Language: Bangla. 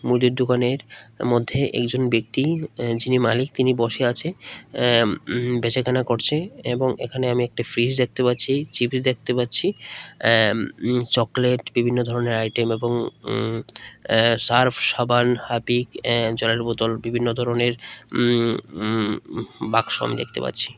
মুদির দোকানের মধ্যে একজন ব্যক্তি যিনি মালিক তিনি বসে আছে অ্যা ইম বেচাকেনা করছে এবং এখানে আমি একটা ফ্রিজ দেখতে পাচ্ছি চিভি টি_ভি দেখতে পাচ্ছি অ্যা ইম চকলেট বিভিন্ন ধরনের আইটেম এবং ইম অ্যা সার্ফ সাবান হাপিক অ্যা জলের বোতল বিভিন্ন ধরনের ইম ইম বাক্স আমি দেখতে পাচ্ছি।